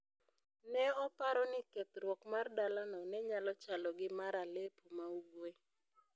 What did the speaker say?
Ne oparo ni kethruok mar dalano ne nyalo chalo gi mar Aleppo ma Ugwe.